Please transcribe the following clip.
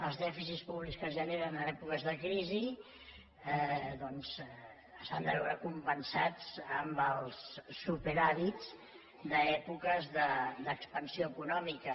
els dèficits públics que es generen en èpoques de crisi doncs s’han de veure compensats amb els superàvits d’èpoques d’expansió econòmica